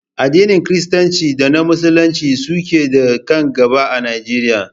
Addinin Kiristanci da na Musulunci su ne ke kan gaba a Najeriya